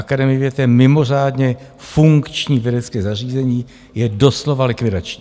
Akademie věd je mimořádně funkční vědecké zařízení, je doslova likvidační.